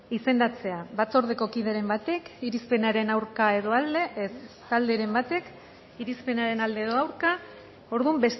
izendatzea batzordeko kideren batek irizpenaren aurka edo alde ez talderen batek irizpenaren alde edo aurka orduan